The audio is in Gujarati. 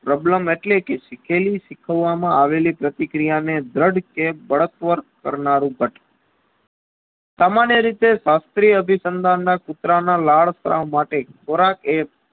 Problem એટલેકે શીખેલી શીખવવા માં આવેલી પ્રતિ ક્રિયાને દ્રઢકે દડકવર કરનારું ભટ સામાન્ય રીતે શાસ્ત્રી અભિસનદાનના કુતરાના લાળ માટે ખોરાક એ